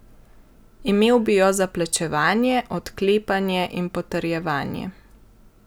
Imel bi jo za plačevanje, odklepanje in potrjevanje.